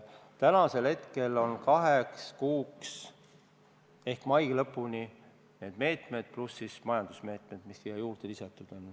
Tänasel hetkel on meil meetmed kaheks kuuks ehk mai lõpuni, pluss majandusmeetmed, mis on siia juurde lisatud.